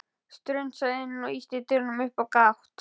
Strunsaði inn og ýtti dyrunum upp á gátt.